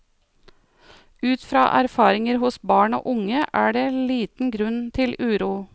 Ut fra erfaringer hos barn og unge er det liten grunn til uro.